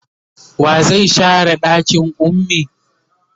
wa zai share ɗakin ummi?